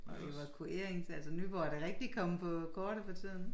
Og evakuerings altså Nyborg er da rigtig kommet på kortet for tiden